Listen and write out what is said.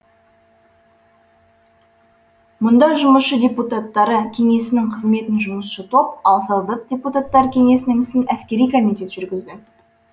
мұнда жұмысшы депутаттары кеңесінің қызметін жұмысшы топ ал солдаттар депутаттары кеңесінің ісін әскери комитет жүргізді